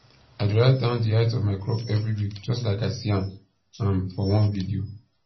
i dey write down the height of my crop every week just like i see am um for one video